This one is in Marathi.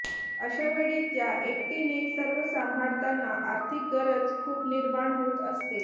अश्यावेळी त्या एकटीने सर्व सांभाळताना आर्थिक गरज खूप निर्माण होत असते